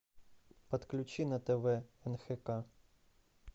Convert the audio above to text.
подключи на тв нхк